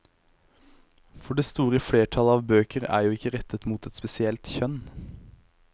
For det store flertall av bøker er jo ikke rettet mot et spesielt kjønn.